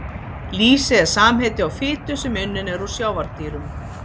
Lýsi er samheiti á fitu sem unnin er úr sjávardýrum.